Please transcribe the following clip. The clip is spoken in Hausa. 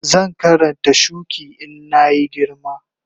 Zan Karanta shuki in na yi girma